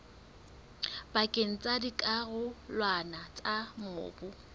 pakeng tsa dikarolwana tsa mobu